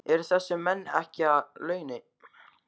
Eru þessir menn ekki að á launum?